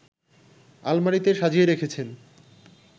আলমারিতে সাজিয়ে রেখেছেন